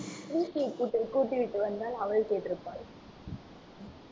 கூட்டி~ கூட்டிவிட்டு வந்தால் அவள் கேட்டிருப்பாள்